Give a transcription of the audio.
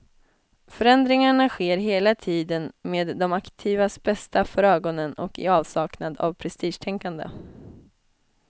Förändringarna sker hela tiden med de aktivas bästa för ögonen och i avsaknad av prestigetänkande.